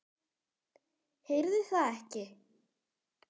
Heyrði það ekki.